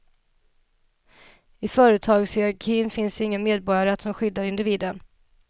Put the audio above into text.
I företagshierarkin finns ingen medborgarrätt som skyddar individen.